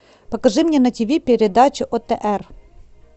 покажи мне на тиви передачу отр